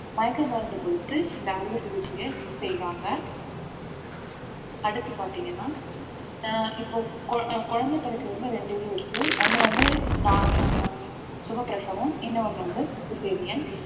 மயக்க மருந்து கொடுத்து இந்த அறுவை சிகிச்சையை செய்வாங்க அடுத்து பார்த்தீங்கன்னா ஆஹ் இப்போ கு~ அஹ் குழந்தை பிறக்கிறதுல இரண்டு இது இருக்கு ஒண்ணு வந்து normal அஹ் சுகப்பிரசவம் இன்னும் ஒண்ணு வந்து cesarean